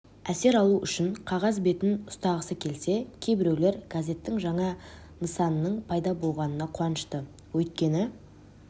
әсер алу үшін қағаз бетін ұстағысы келсе кейбіреулер газеттің жаңа нысанының пайда болғанына қуанышты өйткені